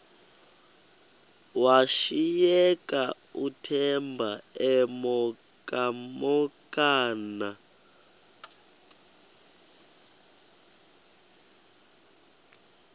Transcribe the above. washiyeka uthemba emhokamhokana